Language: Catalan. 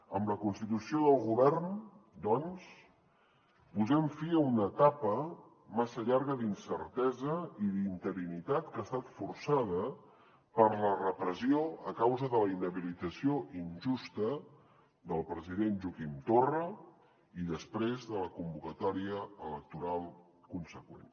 amb la constitució del govern doncs posem fi a una etapa massa llarga d’incertesa i d’interinitat que ha estat forçada per la repressió a causa de la inhabilitació injusta del president joaquim torra i després de la convocatòria electoral consegüent